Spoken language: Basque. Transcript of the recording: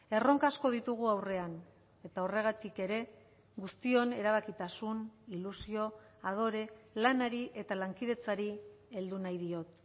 erronka asko ditugu aurrean eta horregatik ere guztion erabakitasun ilusio adore lanari eta lankidetzari heldu nahi diot